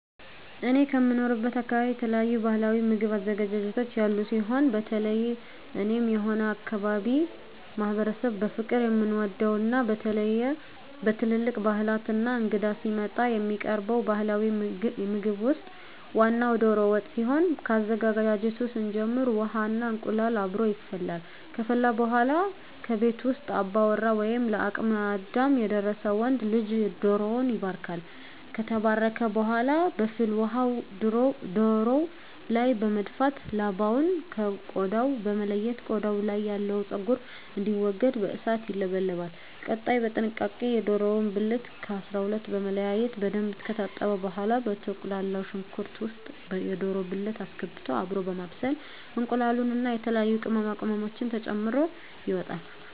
እኔ ከምኖርበት አካበቢ የተለያዩ ባህላዊ ምግብ አዘገጃጀቶች ያሉ ሲሆን በተለየ እኔም ሆነ የአካባቢዉ ማህበረሰብ በፍቅር የምንወደው እና በተለየ በትልልቅ ባህላት እና እንግዳ ሲመጣ የሚቀርበው ባህላዊ ምግብ ውስጥ ዋናው ደሮ ወጥ ሲሆን ከአዘገጃጀቱ ስንጀምር ውሃ እና እንቁላሉ አብሮ ይፈላል ከፈላ በኃላ ከቤት ውስጥ አባወራ ወይም ለአቅመ አዳም የደረሰ ወንድ ልጅ ደሮዉን ይባርካል። ከተባረከ በኃላ በፍል ውሃው ደሮው ላይ በመድፋት ላባውን ከ ቆዳው በመለየት ቆዳው ያለው ፀጉር እንዲወገድ በእሳት ይለበለባል። ቀጣይ በጥንቃቄ የደሮውን ብልት ከ 12 በመለያየት በደንብ ከታጠበ በኃላ በተቁላላው ሽንኩርት ውስጥ የደሮ ብልት አስገብቶ አብሮ በማብሰል እንቁላሉን እና የተለያዩ ቅመማ ቅመሞችን ተጨምሮ ይወጣል።